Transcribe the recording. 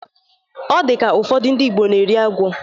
Ọ dị ka, ụfọdụ ndi Ịgbo na-eri agwọ